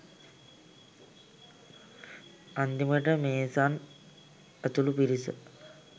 අන්තිමටම Mason ඇතුළු පිරිස